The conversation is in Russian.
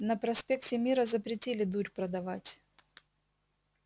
на проспекте мира запретили дурь продавать